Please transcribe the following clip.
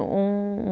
um